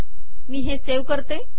मी हे सेव्ह करते